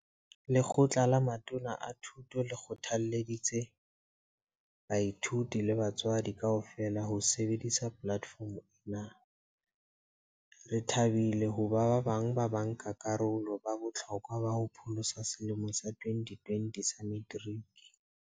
Lekgotla la Matona a Thuto le kgothalleditse baithuti le batswadi kaofela ho sebedisa polatefomo ena. Re thabile hoba ba bang ba banka karolo ba bohlokwa ba ho pholosa selemo sa 2020 sa Meteriki.